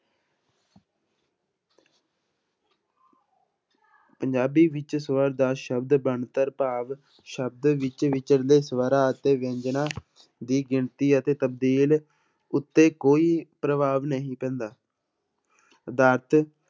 ਪੰਜਾਬੀ ਵਿੱਚ ਸਵਰ ਦਾ ਸ਼ਬਦ ਬਣਤਰ ਭਾਵ ਸ਼ਬਦ ਵਿੱਚ ਵਿਚਰਦੇ ਸਵਰਾਂ ਅਤੇ ਵਿਅੰਜਨਾਂ ਦੀ ਗਿਣਤੀ ਅਤੇ ਤਬਦੀਲ ਉੱਤੇ ਕੋਈ ਪ੍ਰਭਾਵ ਨਹੀਂ ਪੈਂਦਾ